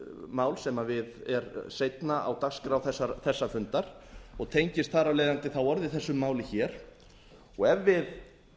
mál sem er seinna á dagskrá þessa fundar og tengist þar af leiðandi þá orðið þessu máli hér ef við